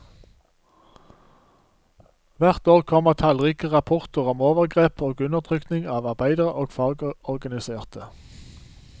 Hvert år kommer tallrike rapporter om overgrep og undertrykking av arbeidere og fagorganiserte.